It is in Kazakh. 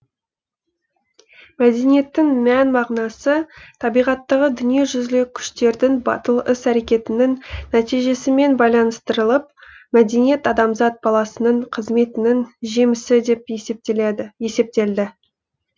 мәдениеттің мән мағынасы табиғаттағы дүниежүзілік күштердің батыл іс әрекетінің нәтижесімен байланыстырылып мәдениет адамзат баласының қызметінің жемісі деп есептелді